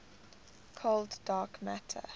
cold dark matter